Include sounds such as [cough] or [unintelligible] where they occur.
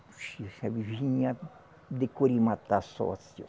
[unintelligible] Vinha de [unintelligible]